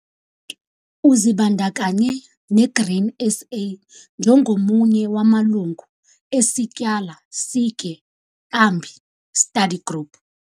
Uzibandakanya ne-Grain SA njengomunye wamalungu eSityala Sitye Kambi Study Group.